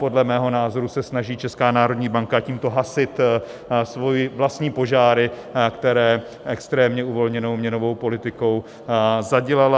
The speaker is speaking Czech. Podle mého názoru se snaží Česká národní banka tímto hasit své vlastní požáry, které extrémně uvolněnou měnovou politikou zadělala.